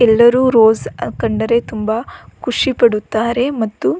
ಎಲ್ಲರು ರೋಸ್ ಯಾಕೆಂದರೆ ತುಂಬಾ ಖುಷಿ ಪಡುತ್ತಾರೆ ಮತ್ತು --